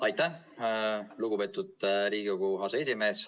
Aitäh, lugupeetud Riigikogu aseesimees!